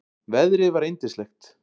Veðrið var yndislegt.